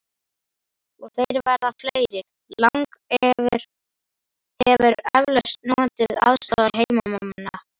Og þeir verða fleiri: Lang hefur eflaust notið aðstoðar heimamanna.